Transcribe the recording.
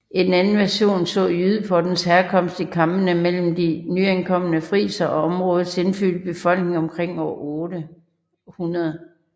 En anden version så jydepottens herkomst i kampene mellem de nyankomne frisere og områdets indfødte befolkning omkring år 800